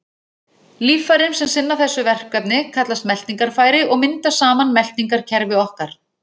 Líffærin sem sinna þessu verkefni kallast meltingarfæri og mynda saman meltingarkerfi okkar.